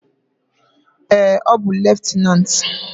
Ee, ọ bụ leftenant.